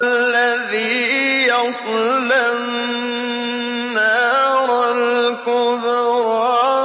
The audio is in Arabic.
الَّذِي يَصْلَى النَّارَ الْكُبْرَىٰ